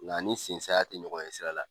Nga ani sen saya tɛ ɲɔgɔn ɲɛsira la.